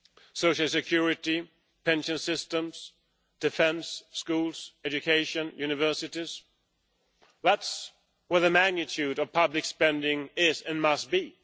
social security, pension systems, defence, schools, education, universities that is where the bulk of public spending is and must be.